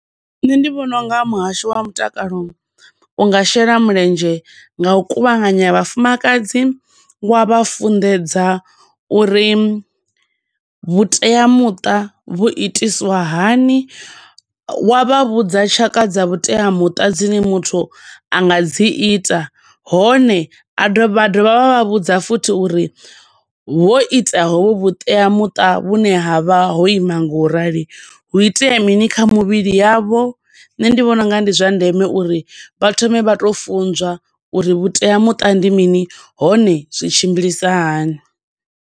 Nṋe ndi vhona unga muhasho wa mutakalo u nga shela mulenzhe nga u kuvhanganya vhafumakadzi wa vha funḓedza uri vhuteamuṱa vhu itiswa hani, wa vha vhudza tshaka dza vhuteamuṱa dzine muthu anga dzi ita, hone a wa dovha wa vha vhudza futhi uri vho ita huvhu vhuteamuṱa vhune ha vha ho ima nga u rali, hu itea mini kha muvhili yavho, nṋe ndi vhona ungari ndi zwa ndeme uri vha thome vha to funzwa uri vhuteamuṱa ndi mini, hone zwi tshimbilisa hani.